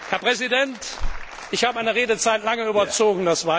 Herr Präsident, ich habe meine Redezeit lange überzogen.